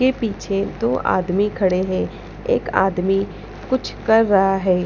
के पीछे दो आदमी खड़े हैं एक आदमी कुछ कर रहा है।